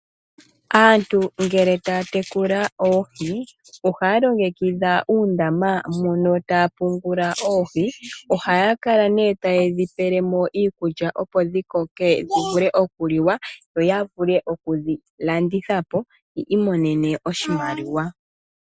Aantu ngele taya tekula oohi ohaya longekidha uundama moka taya pungula oohi ohaya kala nee tayedhi pelemo iikulya opo dhikoke dhivule okuliwa yo yavule okudhilandithapo yi imonene oshimaliwa.